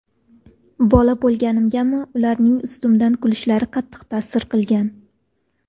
Bola bo‘lganimgami, ularning ustimdan kulishlari qattiq ta’sir qilgan.